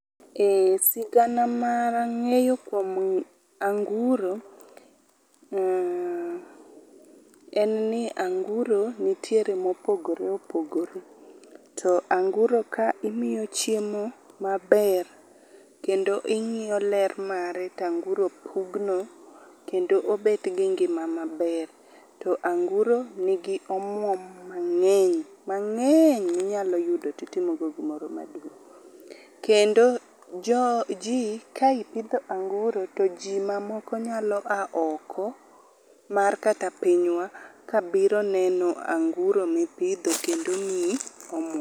Ee, sigana mar ng'eyo kuom anguro , uh, en ni anguro ntiere mopogore opogore. To anguro ka imiyo chiemo maber, kendo ing'iyo ler mare tanguro pugno kendo obet gi ngima maber. To anguro nigi omuom mang'eny, mang'eny minyalo yudo titimogo gimoro maduong'. Kendo jo ji ka ipidho anguro to ji mamoko nyalo a oko mar kata pinywa kabiro neno anguro mipidho kendi miyi omuom.